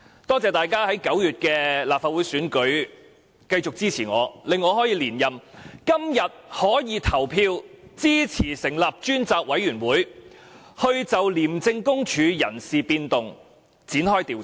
感謝大家在9月的立法會選舉繼續支持我，令我可以連任，今天可在此投票支持成立專責委員會，就廉署的人事變動展開調查。